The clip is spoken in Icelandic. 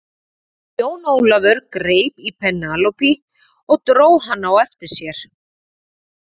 Jón Ólafur greip í Penélope og dró hana á eftir sér.